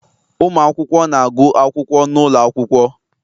Ụmụ akwụkwọ na-agụ akwụkwọ n'ụlọ akwụkwọ